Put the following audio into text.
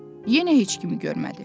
Yenə heç kim görmədi.